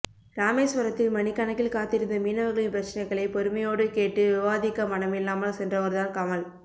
ராமேஸ்வரத்தில் மணிக்கணக்கில் காத்திருந்த மீனவர்களின் பிரச்னைகளை பொறுமையோடு கேட்டு விவாதிக்க மனமில்லாமல் சென்றவர் தான் கமல்